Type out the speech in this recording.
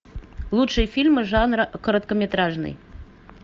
лучшие фильмы жанра короткометражный